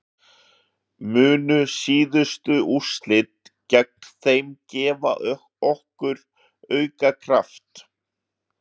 Munu síðustu úrslit gegn þeim gefa okkur auka kraft?